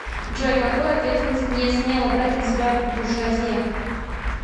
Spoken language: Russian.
джой какую ответственность не смела брать на себя буржуазия